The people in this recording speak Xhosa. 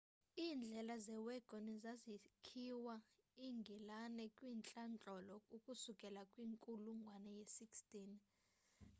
iindlela zewagoni zazisakhiwa engilani kwantlandlolo ukusukela kwinkulungwane ye-16